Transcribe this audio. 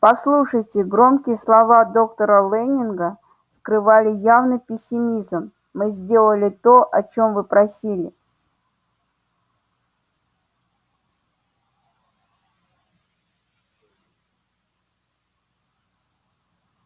послушайте громкие слова доктора лэннинга скрывали явный пессимизм мы сделали то о чем вы просили